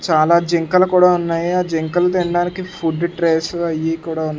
చాలా జింకలు కూడా ఉన్నాయి ఆ జింకలు తిండానికి ఫుడ్డు ట్రేసు అయి కూడా ఉన్ --